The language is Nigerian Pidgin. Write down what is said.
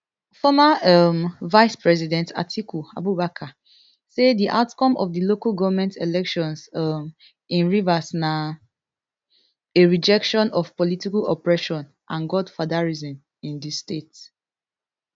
former um vicepresident atiku abubakar say di outcome of di local goment elections um in rivers na a rejection of political oppression and godfatherism in di state